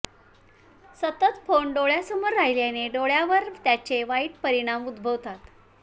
सतत फोन डोळ्यांसमोर राहिल्याने डोळ्यांवर त्याचे वाईट परिणाम उद्भवतात